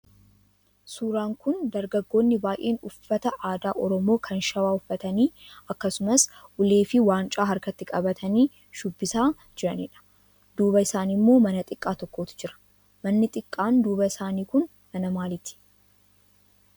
Suuraan kun dargaggoonni baay'een uffata aadaa Oromoo kan shawwaa uffatanii akkasumas ulee fi waancaa harkatti qabatanii shubbisaa jiraniidha. duuba isaanii immoo mana xiqqaa tokkotu jira. Manni xiqqaan duuba isaanii kun mana maaliiti?